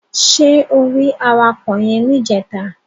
Ṣé o rí awakọ̀ yẹn níjẹta?